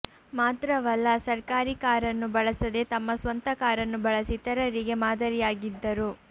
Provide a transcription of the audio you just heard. ಮಾತ್ರವಲ್ಲ ಸರ್ಕಾರಿ ಕಾರನ್ನು ಬಳಸದೆ ತಮ್ಮ ಸ್ವಂತ ಕಾರನ್ನು ಬಳಸಿ ಇತರರಿಗೆ ಮಾದರಿಯಾಗಿದ್ದರು